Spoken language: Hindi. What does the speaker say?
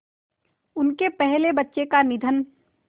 उनके पहले बच्चे का निधन